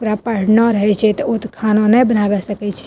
ओकरा पढ़ना रहे छै ते उ ते खाना नए बनावे सकय छै।